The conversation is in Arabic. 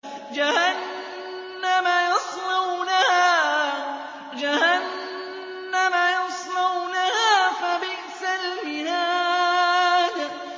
جَهَنَّمَ يَصْلَوْنَهَا فَبِئْسَ الْمِهَادُ